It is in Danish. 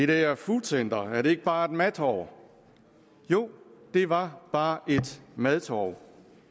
der foodcenter ikke bare et madtorv jo det var bare et madtorv